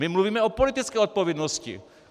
My mluvíme o politické odpovědnosti!